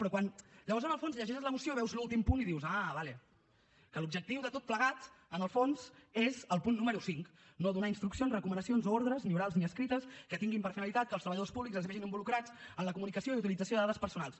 però quan llavors en el fons llegeixes la moció i veus l’últim punt dius ah d’acord que l’objectiu de tot plegat en el fons és el punt número cinc no donar instruccions recomanacions o ordres ni orals ni escrites que tinguin per finalitat que els treballadors públics es vegin involucrats en la comunicació i utilització de dades personals